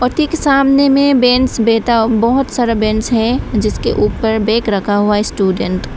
ठीक सामने में बेंच बैठा बहुत सारा बेंच है जिसके ऊपर बैग रखा हुआ स्टूडेंट --